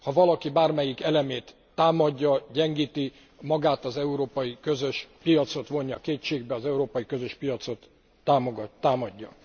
Ha valaki bármelyik elemét támadja, gyengíti, magát az európai közös piacot vonja kétségbe, az európai közös piacot támadja.